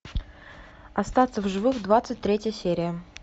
остаться в живых двадцать третья серия